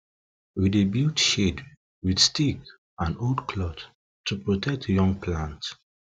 we dey build shade with stick and old cloth to protect young plant